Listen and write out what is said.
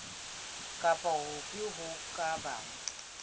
kapa hofe ho ka bang